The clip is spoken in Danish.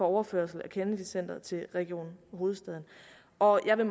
overførsel af kennedy centret til region hovedstaden og jeg vil